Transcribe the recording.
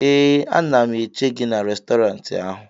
ee, a na m eche gị n'Restọrantị ahụ